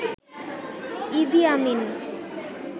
ইদি আমিন